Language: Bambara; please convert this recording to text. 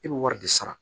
I bɛ wari de sara